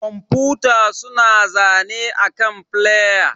Kwamfuta suna zane akan flƴa.